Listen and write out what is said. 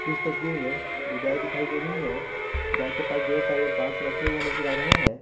इस तस्वीर में दो गाय दिखाई दे रही है गाय के पास ढेर सारे बांस रखे हुए नजर आ रहे हैं।